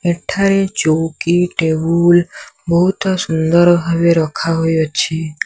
ଏଠାରେ ଚଉକି ଟେବୁଲ୍ ବହୁତ ସୁନ୍ଦର ଭାବେ ରଖାହୋଇଅଛି।